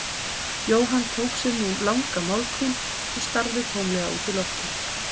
Jóhann tók sér nú langa málhvíld og starði tómlega út í loftið.